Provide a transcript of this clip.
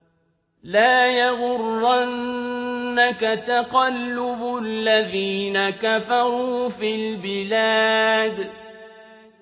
لَا يَغُرَّنَّكَ تَقَلُّبُ الَّذِينَ كَفَرُوا فِي الْبِلَادِ